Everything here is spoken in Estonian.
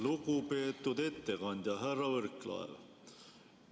Lugupeetud ettekandja härra Võrklaev!